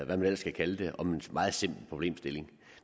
man ellers kan kalde det om en meget simpel problemstilling